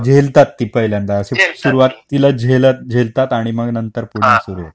हा झेलतात ती पहिल्यांदा अशी सुरुवातीला झेलतात आणि पुन्हा सुरू होतं